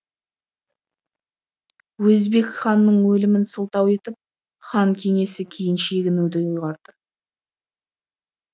өзбек ханның өлімін сылтау етіп хан кеңесі кейін шегінуді ұйғарды